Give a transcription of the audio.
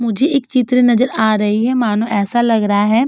मुझे इक चित्र नजर आ रही है मानो एैसा लग रहा है --